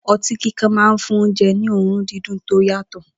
O̩tí kíkan máa ń fún oúnje̩ ní òórùn dídùn tó yàtò̩